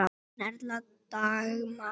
Þín Erla Dagmar.